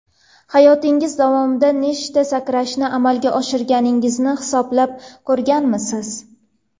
Hayotingiz davomida nechta sakrashni amalga oshirganingizni hisoblab ko‘rganmisiz?